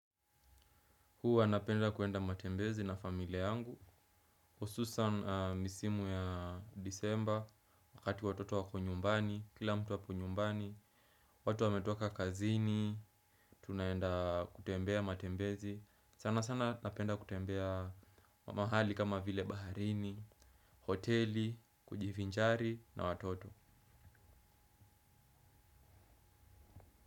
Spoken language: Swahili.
Huwa napenda kuenda matembezi na familia yangu. Hususan misimu ya disemba, wakati watoto wako nyumbani, kila mtu ako nyumbani, watu wametoka kazini, tunaenda kutembea matembezi. Sana sana napenda kutembea mahali kama vile baharini, hoteli, kujivinjari na watoto.